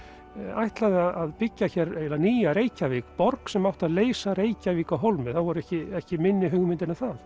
ætlaði að byggja hér nýja Reykjavík borg sem átti að leysa Reykjavík af hólmi það voru ekki ekki minni hugmyndir en það